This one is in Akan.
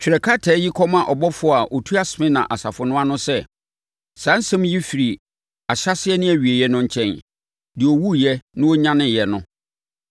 “Twerɛ krataa yi kɔma ɔbɔfoɔ a ɔtua Smirna asafo no ano sɛ: Saa asɛm yi firi Ahyɛaseɛ ne Awieeɛ no nkyɛn. Deɛ ɔwuiɛ na ɔnyaneeɛ no.